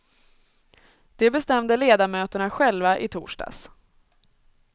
Det bestämde ledamöterna själva i torsdags.